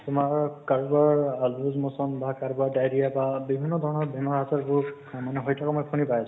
তোমাৰ কাৰোবাৰ আহ loose motion বা কাৰোবাৰ diarrhea বা বিভিন্ন ধৰণৰ বেমাৰ আজাৰ বোৰ মানে হৈ থকা মই শুনি পাই আছো।